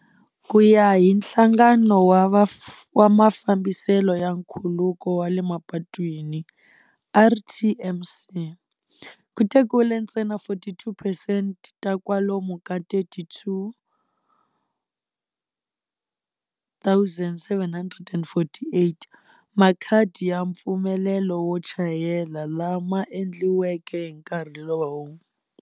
Ku ya hi Nhlangano wa Mafambiselo ya Nkhuluko wa le Mapatwini, RTMC, ku tekiwile ntsena 42 percent ta kwalomu ka 32 748 makhadi ya mpfumelelo wo chayela lama endliweke hi nkarhi lowu.